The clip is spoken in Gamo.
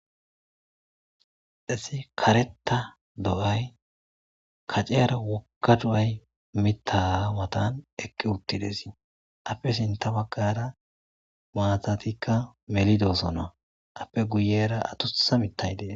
dhesi kareta do7ay kaceyara wokka du7ay mittaawatan ekki uttidesii appe sinta baggara maatatikka melidoosona appe guyera adusa mittay dees